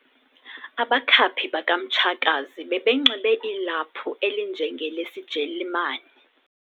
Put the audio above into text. Abakhaphi bakamtshakazi bebenxibe ilaphu elinjengelesijelimani.